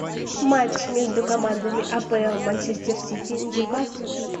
матч между командами апл манчестер сити ньюкасл